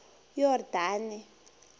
yordane